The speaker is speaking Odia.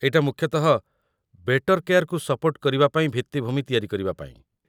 ଏଇଟା ମୁଖ୍ୟତଃ ବେଟର୍ କେୟାର୍‌କୁ ସପୋର୍ଟ କରିବା ପାଇଁ ଭିତ୍ତିଭୂମି ତିଆରି କରିବା ପାଇଁ ।